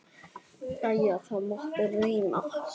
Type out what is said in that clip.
Jæja, það mátti reyna.